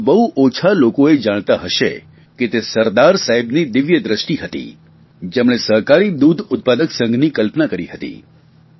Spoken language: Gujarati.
પરંતુ બહુ ઓછા લોકો એ જાણતા હશે કે તે સરદાર સાહેબની દિવ્યદ્રષ્ટિ હતી જેમણે સહકારી દૂધ ઉત્પાદક સંઘની કલ્પના કરી હતી